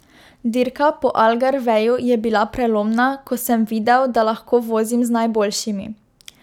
Dirka po Algarveju je bila prelomna, ko sem videl, da lahko vozim z najboljšimi.